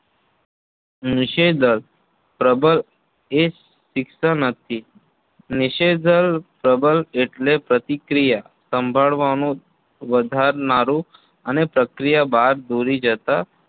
નિષેધક પ્રબલન એ શિક્ષા નથી નિષેધક પ્રબલન એટલે પ્રતિક્રિયા સંભાળવાનું વધારનારું અને પ્રતિક્રિયા બાદ ભૂલી જતા